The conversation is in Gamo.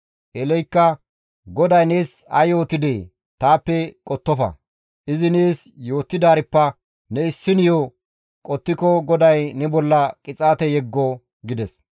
Eeleykka, «GODAY nees ay yootidee? Taappe qottofa; izi nees yootidaarippe ne issiniyo qottiko GODAY ne bolla qixaate yeggo» gides.